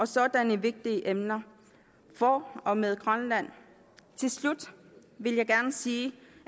sådanne vigtige emner for og med grønland til slut vil jeg gerne sige